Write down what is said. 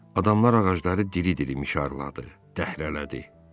Adamlar ağacları diri-diri mişarladı, dəhrələdi.